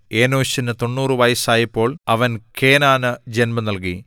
ഏനോശിന് 90 വയസ്സായപ്പോൾ അവൻ കേനാനു ജന്മം നൽകി